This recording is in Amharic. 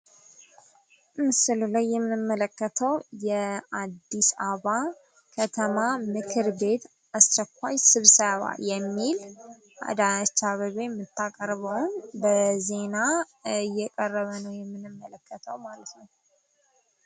ምስሉ ላይ የምንመለከተው የአዲስ አበባ ምክር ቤት አስቸኳይ ስብሰባ የሚል አዳነች አቤቤ ምታቀርበው ዜና እየቀረበ ነው ምንመለከተው ማለት ነው ።